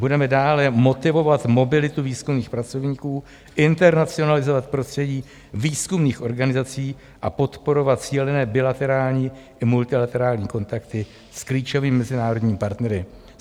Budeme dále motivovat mobilitu výzkumných pracovníků, internacionalizovat prostředí výzkumných organizací a podporovat cílené bilaterální i multilaterální kontakty s klíčovými mezinárodními partnery.